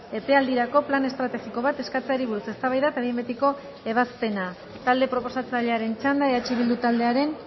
epealdirako plan estrategiko bat eskatzeari buruz eztabaida eta behin betiko ebazpena talde proposatzailearen txanda eh bildu taldearen